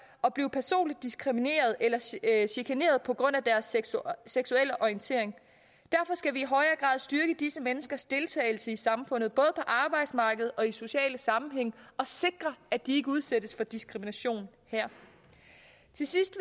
at blive personligt diskrimineret eller chikaneret på grund af deres seksuelle orientering derfor skal vi styrke disse menneskers deltagelse i samfundet både på arbejdsmarkedet og i sociale sammenhænge og sikre at de ikke udsættes for diskrimination her til sidst